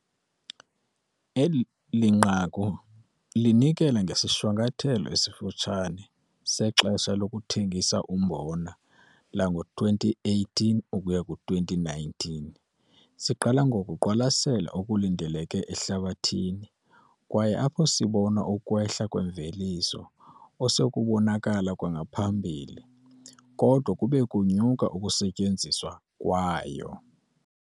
Eli nqaku linikela ngesishwankathelo esifutshane sexesha lokuthengisa umbona lango-2018 ukuya ku-2o19. Siqala ngokuqwalasela okulindeleke ehlabathini kwaye apho sibona ukwetha kwimveliso osekubonakala kwangaphambili kodwa kube kunyuka ukusetyenziswa kwayo.